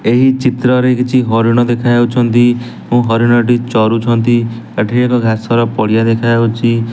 ଏହି ଚିତ୍ରରେ କିଛି ହରିଣ ଦେଖା ଯାଉଛନ୍ତି ଓ ହରିଣଟି ଚରୁଛନ୍ତି ଏଠି ଏକ ଘାସର ପଡ଼ିଆ ଦେଖାଯାଉଚି।